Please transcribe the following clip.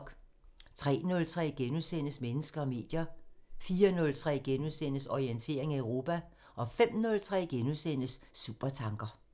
03:03: Mennesker og medier * 04:03: Orientering Europa * 05:03: Supertanker *